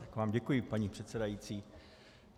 Tak vám děkuji, paní předsedající.